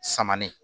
Samanen